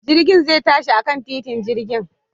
Jirgin zai tashi akan titin jirgin